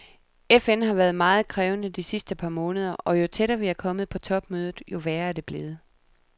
FN har været meget krævende de sidste par måneder, og jo tættere vi er kommet på topmødet, jo værre er det blevet.